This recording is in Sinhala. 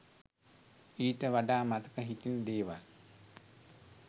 ඊට වඩා මතක හිටින දේවල්